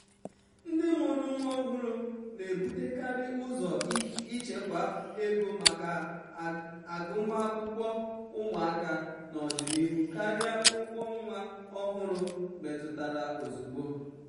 ndị mụrụ nwa ọhụrụ na-ebutekarị ụzọ ichekwa ego maka agụmakwụkwọ ụmụaka n'ọdịnihu karịa ụgwọ nwa ọhụrụ metụtara ozugbo.